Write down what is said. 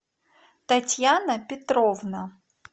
татьяна петровна